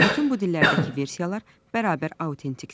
Bütün bu dillərdəki versiyalar bərabər autentikdir.